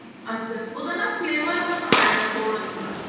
ਅੱਛਾ ਉਹਦਾ ਨਾ flavor ਬੱਸ ਆਏਗਾ ਥੋੜਾ ਜਿੰਨਾ